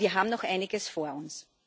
Aber wir haben noch Einiges vor uns.